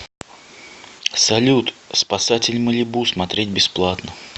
салют спасатель малибу смотреть бесплатно